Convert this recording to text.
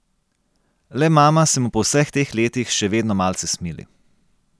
Le mama se mu po vseh teh letih še vedno malce smili.